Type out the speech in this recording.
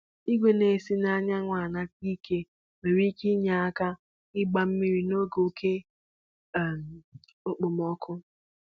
Igwe na-esi n'anyanwụ anata ike nwere ike inye aka gbaa mmiri n'oge oke um okpomọkụ